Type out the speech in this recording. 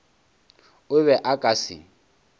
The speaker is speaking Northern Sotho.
o be a ka se